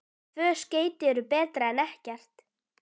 Tvö skeyti eru betra en ekkert.